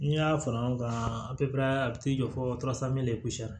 N'i y'a fara ɲɔgɔn kan a a bɛ t'i jɔ fo